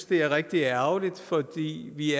det er rigtig ærgerligt fordi vi